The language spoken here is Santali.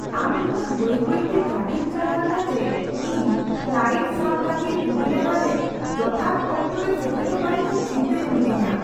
ᱟᱢ ᱱᱩᱱᱟᱹᱜ ᱵᱟᱹᱭ ᱵᱟᱹᱭᱛᱮ ᱜᱟᱹᱰᱤᱢ ᱪᱟᱞᱟᱣ ᱮᱫᱟ ᱡᱮ ᱤᱧ ᱯᱷᱞᱟᱭᱤᱴ ᱥᱟᱵᱽ ᱞᱟᱹᱜᱤᱫ ᱩᱰᱟᱹᱱᱟᱰᱟ ᱨᱮ ᱡᱚᱛᱷᱟᱛ ᱚᱠᱛᱚ ᱨᱮ ᱥᱮᱴᱮᱨᱚᱜ ᱵᱟᱨᱮᱛᱮ ᱪᱤᱱᱛᱟᱹ ᱨᱮ ᱢᱤᱱᱟᱹᱧᱼᱟ ᱾